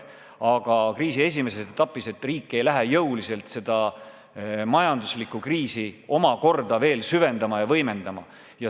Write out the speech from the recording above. Aga kriisi esimeses etapis riik ei hakka majanduslikku kriisi omakorda süvendama ja võimendama.